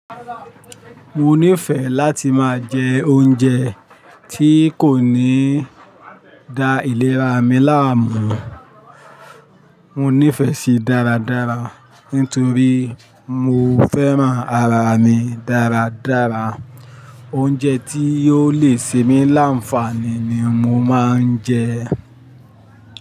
Mo nífẹ̀ẹ́ láti máa jẹ oúnjẹ tí kò ní da ìlera mi láàmú. Mo nífẹ̀ẹ́ sí dáradára nítorí mo fẹ́ràn ara mi dáradára. Oúnjẹ tí yóò le ṣe mi láǹfààní ni mo máa ń jẹ.